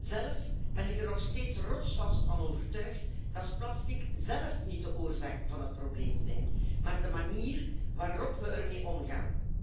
Zelf ben ik er nog steeds rotsvast van overtuigd dat plastics zelf niet de oorzaak van het probleem zijn, maar de manier waarop we ermee omgaan.